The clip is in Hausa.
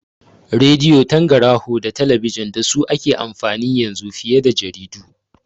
Radi'o, tangaraho da talabijin dasu ake amfani yanzu fiye jaridu